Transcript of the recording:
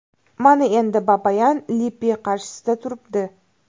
Mana endi Babayan Lippi qarshisida turibdi.